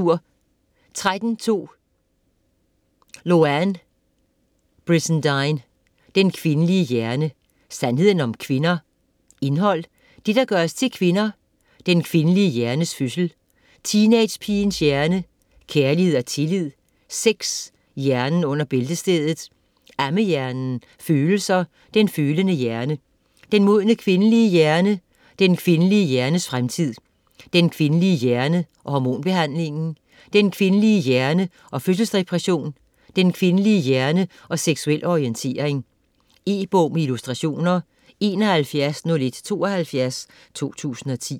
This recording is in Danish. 13.2 Brizendine, Louann: Den kvindelige hjerne: sandheden om kvinder Indhold: Det, der gør os til kvinder; Den kvindelige hjernes fødsel; Teenagepigens hjerne; Kærlighed og tillid; Sex : hjernen under bæltestedet; Ammehjernen; Følelser : den følende hjerne; Den modne kvindelige hjerne; Den kvindelige hjernes fremtid; Den kvindelige hjerne og hormonbehandling; Den kvindelige hjerne og fødselsdepression; Den kvindelige hjerne og seksuel orientering. E-bog med illustrationer 710172 2010.